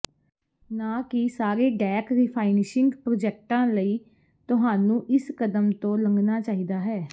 ਨਾ ਕਿ ਸਾਰੇ ਡੈੱਕ ਰਿਫਾਈਨਿਸ਼ਿੰਗ ਪ੍ਰੋਜੈਕਟਾਂ ਲਈ ਤੁਹਾਨੂੰ ਇਸ ਕਦਮ ਤੋਂ ਲੰਘਣਾ ਚਾਹੀਦਾ ਹੈ